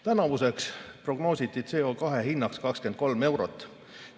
Tänavuseks prognoositi CO2 hinnaks 23 eurot.